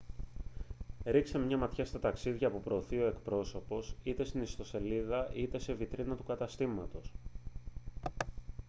ρίξτε μια ματιά στα ταξίδια που προωθεί ο εκπρόσωπος είτε στην ιστοσελίδα είτε σε βιτρίνα του καταστήματος